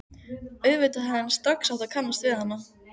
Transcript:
Auðvitað hefði hann strax átt að kannast við hana.